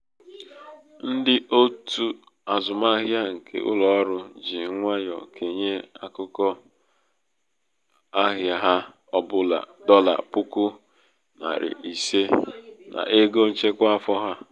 ndị òtù azụmahịa nke ụlọ ọrụ ji nwayọ kenye ákụkụ nwayọ kenye ákụkụ ahịa ha ọ bụla dọla puku narị ise n'ego nchekwa afọ ha.